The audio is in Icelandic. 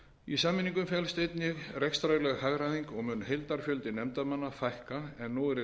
í sameiningu felst einnig rekstrarleg hagræðing og mun heildarfjölda nefndarmanna fækka en nú er í